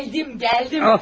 Gəldim, gəldim.